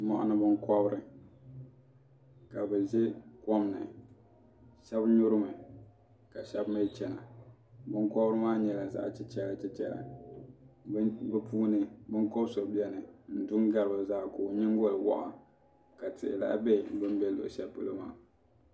Mɔɣini binkɔbiri ka bi zɛ kom ni shɛba nyuri mi ka shɛba mi chɛna binkobiri maa nyɛla zaɣi chichɛra chichɛra bi puuni binkobi so bɛni n di n gari bi zaa ka o yiŋgoli wɔɣa ka tihi lahi bɛ bini bɛ shɛli polo maa.